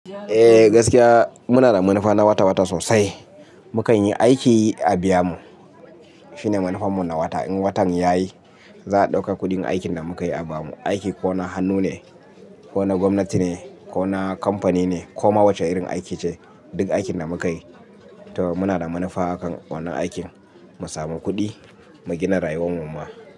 Eh gaskiya muna da munafa na wata wata sosai. Mukan yi aiki a biyamu. Shine munafarmu na wata. In watan yayi za'a dauka kuɗin aikin da mukayi a bamu. Aiki ko na hannu ne, ko na gwamnati ne, ko na kamfani ne, ko ma wace irin aiki ce. Duk aikin da mukayi to muna da munafa akan wannan aikin mu samu kuɗi mu gina rayuwar mu ma.